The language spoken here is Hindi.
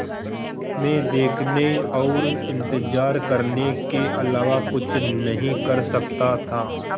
मैं देखने और इन्तज़ार करने के अलावा कुछ नहीं कर सकता था